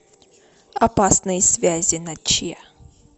опасные связи на че